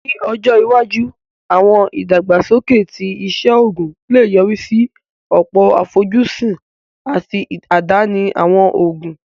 Ní ọjọ́ iwájú, àwọn ìdàgbàsókè ti iṣẹ́ oògùn lè yọrí sí ọ̀pọ̀ àfojúsùn àti àdáni àwọn òògùn